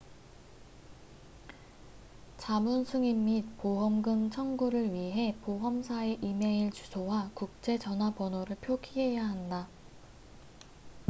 자문/승인 및 보험금 청구를 위해 보험사의 이메일 주소와 국제 전화번호를 표기해야 한다